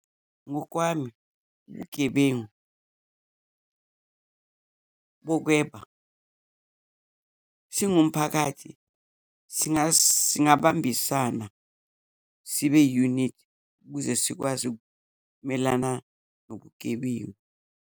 Ngokwami, ubugebengu bokweba, singumphakathi singabambisana sibe i-unit, ukuze sikwazi ukumelana nobugebengu.